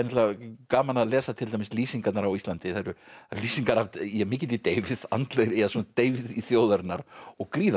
gaman að lesa til dæmis lýsingarnar á Íslandi það eru lýsingar af mikilli deyfð andlegri ja svona deyfð þjóðarinnar og gríðarlegum